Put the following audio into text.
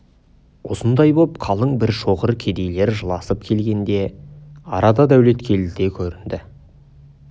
осындай боп қалың бір шоғыр кедейлер жыласып келгенде арада дәулеткелді де көрінді